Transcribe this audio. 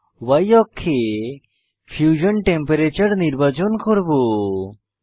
Y অক্ষে fusion temperature fusion তাপমাত্রা নির্বাচন করব